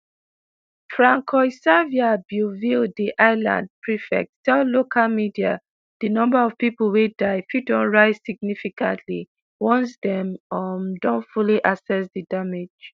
francois-xavier bieuville di island prefect tell local media di number of pipo wey die fit don rise significantly once dem um don fully assess di damage.